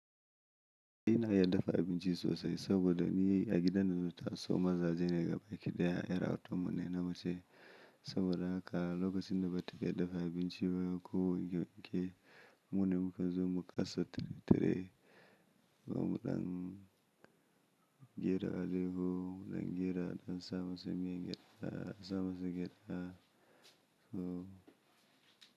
Ina iya dafa abinci sosai saboda ni a gidan da na zata so mazaje ne gabaki ɗaya 'ƴar autan mu ne na mace. Saboda haka lokacin da ba ta iya dafa abinci ba ko girki mune mukazo mu kasa tire-tire, zamu ɗan jera alayyahu, ɗan jera, ɗan sa masu man gyaɗa, a ɗan sa masu gyaɗa huh.